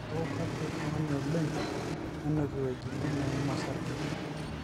neeku kepirik ing'onyo oleng nenuk iwuejitin neim osarge